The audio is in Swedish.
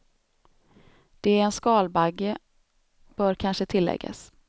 Det är en skalbagge bör kanske tilläggas.